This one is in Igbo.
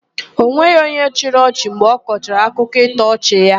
E nweghị onye chịrị ọchị mgbe ọkọchara akụkọ ịtọ ọchị ya.